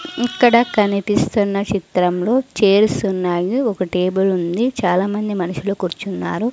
ఇక్కడ కనిపిస్తున్న చిత్రంలో చేర్సున్నాయి ఒక టేబుల్ ఉంది చాలామంది మనుషులు కూర్చున్నారు.